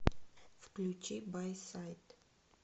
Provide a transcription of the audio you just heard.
включи байсайд